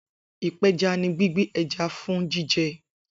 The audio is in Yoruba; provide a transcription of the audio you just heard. Ipeja ni gbigbe ẹja fun jijẹ